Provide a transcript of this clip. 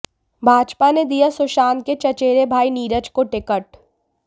भाजपा ने दिया सुशांत के चचेरे भाई नीरज को टिकट